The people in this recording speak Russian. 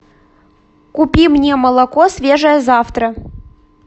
купи мне молоко свежее завтра